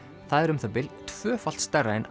það er um það bil tvöfalt stærra en